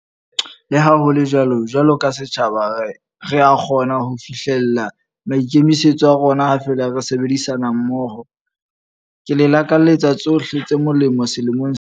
Leha ho le jwalo, jwalo ka setjhaba re a kgona ho fihlela maikemisetso a rona ha feela re sebedisana mmoho. Ke le lakaletsa tsohle tse molemo selemong se setjha.